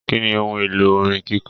Kínní ohùn èlò orin kikọ?